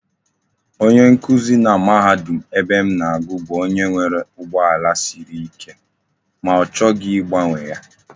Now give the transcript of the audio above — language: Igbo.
Onye nkuzi na mahadum ebem na agu bu onye nwere ugbo ala Siri ike, ma ochighi igbanwe ya